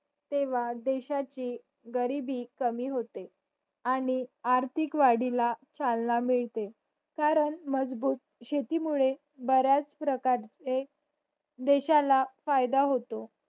तेव्हा देशाची गरिबी कमी होते आणि आर्थिक वाढीला चालना मिळते कारण मजबूत शेती मुळे बऱ्याच प्रकारचे देशाला फायदा होतो